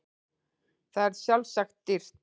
Það er sjálfsagt dýrt.